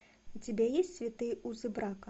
у тебя есть святые узы брака